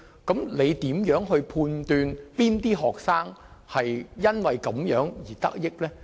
請問如何判斷哪些學生因這樣的行為而得益？